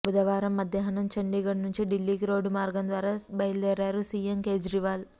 బుధవారం మధ్యాహ్నాం చంఢీఘడ్ నుంచి ఢిల్లీకి రోడ్డు మార్గం ద్వారా బయలుదేరారు సీఎం కేజ్రీవాల్